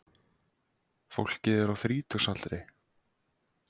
Fólkið er á þrítugsaldri